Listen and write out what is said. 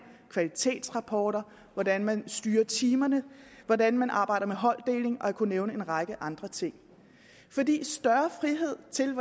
kvalitetsrapporter hvordan man styrer timerne hvordan man arbejder med holddeling og jeg kunne nævne en række andre ting større frihed til